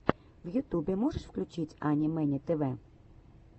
в ютюбе можешь включить ани мэни тв